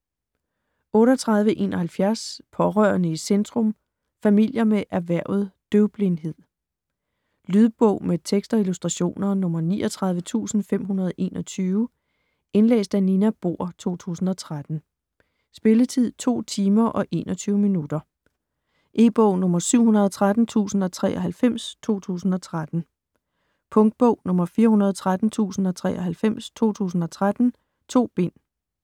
38.71 Pårørende i centrum - familier med erhvervet døvblindhed Lydbog med tekst og illustrationer 39521 Indlæst af Nina Bohr, 2013. Spilletid: 2 timer, 21 minutter. E-bog 713093 2013. Punktbog 413093 2013. 2 bind.